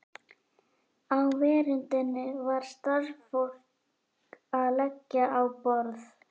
Á veröndinni var starfsfólk að leggja á borð.